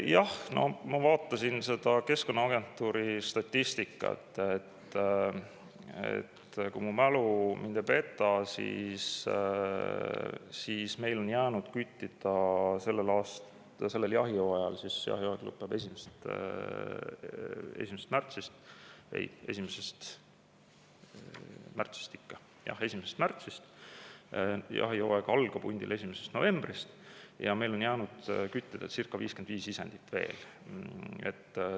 Jah, no ma vaatasin seda Keskkonnaagentuuri statistikat ja kui mu mälu mind ei peta, siis meil on jäänud küttida sellel jahihooajal – jahihooaeg lõpeb 1. märtsil, hundijahihooaeg algab 1. novembril – veel circa 55 isendit.